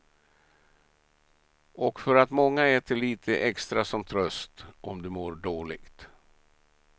Och för att många äter lite extra som tröst om de mår dåligt.